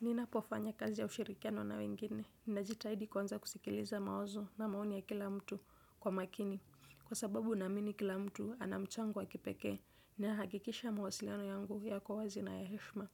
Ninapofanya kazi ya ushirikiano na wengine, ninajitaidi kwanza, kusikiliza mawazo na maoni ya kila mtu, kwa makini. Kwa sababu naamini kila mtu, anamchango wa kipekee. Na hakikisha mawasiliano yangu yako wazi na ya heshma.